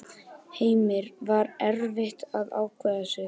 Heimir: Var erfitt að ákveða sig?